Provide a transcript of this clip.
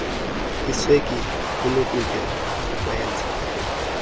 iswekile kunokutya okwenza